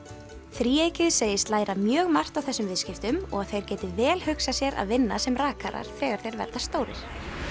þríeykið segist læra mjög margt á þessum viðskiptum og að þeir geti vel hugsað sér að vinna sem rakarar þegar þeir verða stórir